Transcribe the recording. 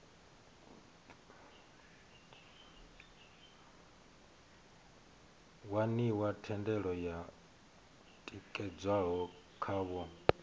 waniwa thendelo yo tikedzwaho khavho